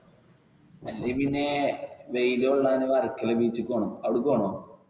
അല്ലെങ്കിൽ പിന്നെ വെയിൽ കൊള്ളാൻ വർക്കല beach ൽ പോണം. അവിടേക്ക് പോണോ?